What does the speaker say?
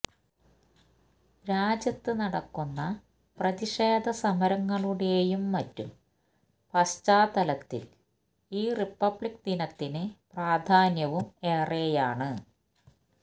രാജ്യത്ത് നടക്കുന്ന പ്രതിഷേധ സമരങ്ങളുടേയും മറ്റും പശ്ചാത്തലത്തിൽ ഈ റിപ്പബ്ലിക് ദിനത്തിന് പ്രാധാന്യവും ഏറെയാണ്